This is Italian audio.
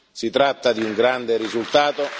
Si tratta di un grande risultato.